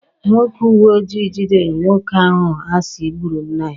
Ndị uweojii gidere nwoke ahụ a si gburu nna ya.